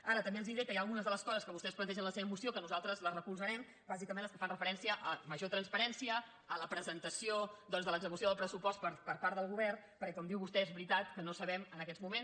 ara també els diré que hi ha algunes de les coses que vostès plantegen en la seva moció que nosaltres les recolzarem bàsicament les que fan referència a major transparència a la presentació doncs de l’execució del pressupost per part del govern perquè com diu vostè és veritat que no sabem en aquests moments